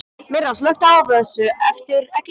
Myrra, slökktu á þessu eftir ellefu mínútur.